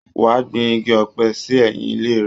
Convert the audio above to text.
Wá gbìn igi ọ̀pẹ sí ẹ̀yìn ile rẹ